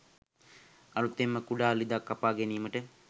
අලුතෙන්ම කුඩා ළිඳක් කපා ගැනීමට